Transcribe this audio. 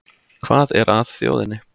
Hvað er að þjóðinni